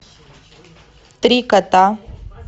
три кота